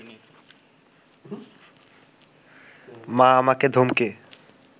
মা আমাকে ধমকে